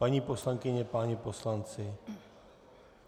Paní poslankyně, páni poslanci!